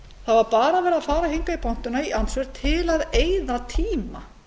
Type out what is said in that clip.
það var bara farið í pontu í andsvör til að eyða tíma